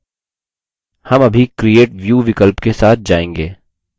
हम अभी create view विकल्प के साथ जाएँगे